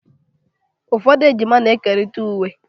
Ụfọdụ ejima na-ekerịta uwe